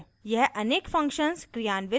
यह अनेक functions क्रियान्वित कर सकता है